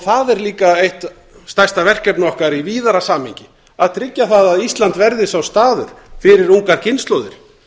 það er líka eitt stærsta verkefni okkar í víðara samhengi að tryggja það að ísland verði sá staður fyrir ungar kynslóðir